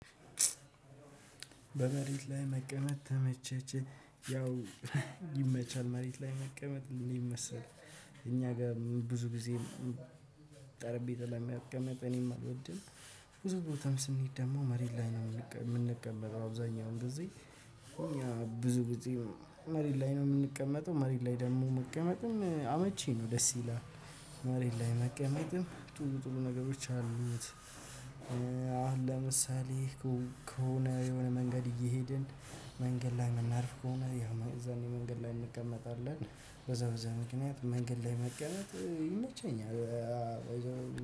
በመሬት ላይ መቀመጥ ተመቸች። ያው ይመቻል። መሬት ላይ መቀመጥ የሚመስል እኛ ጋር ብዙ ጊዜ ጠረጴዛ ላይ መቀመጥ እኔም አልወድም። ብዙ ቦታም ስንሄድ ደግሞ መሬት ላይ ነው እምንቀመጠው አብዛኛው ጊዜ እኛ ብዙ መሬት ላይ ነው የምንቀመጠው። መሬት ላይ ደግሞ መቀመጥም አመቺ ነው ደስ ይላል። መሬት ላይ መቀመጥም ጥሩ ጥሩ ነገሮች አሉት። አሁን ለምሳሌ ከሆነ የሆነ መንገድ እየሄድን መንገድ ላይ የምናርፍ ከሆነ ያው እዛኔ መንገድ ላይ እንቀመጣለን። በዛ በዛ ምክንያት መንገድ ላይ መቀነጥ ይመቸኛል።